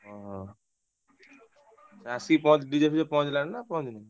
ଓହୋ ଆସିକି ପହଞ୍ଚି DJ ଫିଜେ ପହଁଞ୍ଚିଲାଣି ନା ପହଁଞ୍ଚିନି?